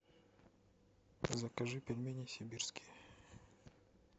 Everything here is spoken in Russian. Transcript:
закажи пельмени сибирские